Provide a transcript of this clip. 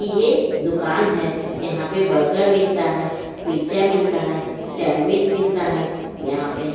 ये दुकान है यहां पे बर्गर मिलता है पिज़्ज़ा मिलता है सैंडविच मिलता है यहां पे --